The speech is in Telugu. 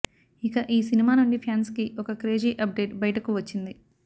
ఇక ఈ సినిమా నుండి ఫ్యాన్స్ కి ఒక క్రేజీ అప్డేట్ బయటకు వచ్చింది